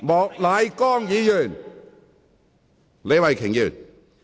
莫乃光議員，請坐下。